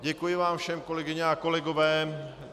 Děkuji vám všem, kolegyně a kolegové.